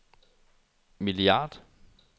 milliard